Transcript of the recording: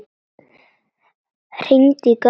Hringi í Garðar.